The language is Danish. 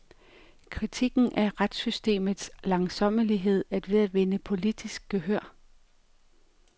Kritikken af retssystemets langsommelighed er ved at vinde politisk gehør.